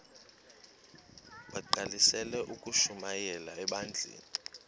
bagqalisele ukushumayela ebandleni